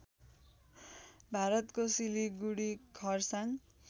भारतको सिलीगुडी खर्साङ